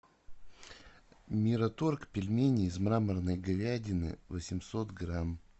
мираторг пельмени из мраморной говядины восемьсот грамм